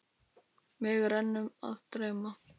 Mig er enn að dreyma.